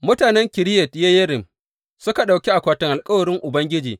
Mutanen Kiriyat Yeyarim suka ɗauki akwatin alkawarin Ubangiji.